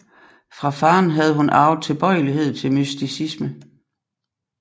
Fra faderen havde hun arvet tilbøjelighed til mysticisme